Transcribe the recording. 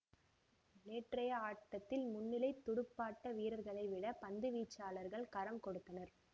நேற்றைய ஆட்டத்தில் முன்னிலைத் துடுப்பாட்ட வீரர்களைவிட பந்துவீச்சாளர்கள் கரம் கொடுத்தனர்